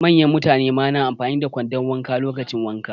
Manyan mutane ma na amfani da kwandon wanka lokacin wanka.